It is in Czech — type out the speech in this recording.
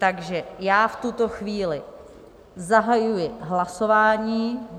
Takže já v tuto chvíli zahajuji hlasování.